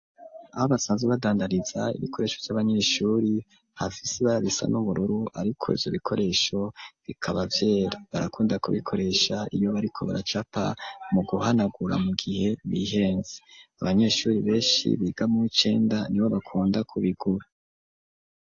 Aho basanzwe, badandariza, ibikoresho vy'abanyeshuri, hafise ibara risa n'ubururu, ariko ivyo bikoresho, bikaba vyera; barakunda kubikoresha, iyo bariko baracapa, mu guhanagura, mu gihe bihenze; abanyeshuri benshi, biga mu w'icenda, nibo bakunda kubigura.